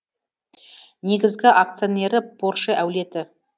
негізгі акционері порше әулеті